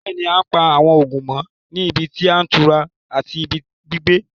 Bẹ́ẹ̀ni, àn pa awọn oogun mọ̀ ní ìbí tí itura àti ìbí gbígbẹ̀